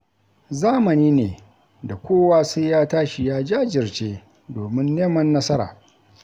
Zamani ne da kowa sai ya tashi ya jajirce domin neman nasara.